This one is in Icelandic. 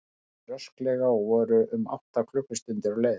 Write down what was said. Þeir löbbuðu rösklega og voru um átta klukkustundir á leiðinni.